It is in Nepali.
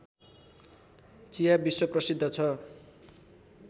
चिया विश्वप्रसिद्ध छ